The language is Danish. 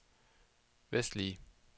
vestlige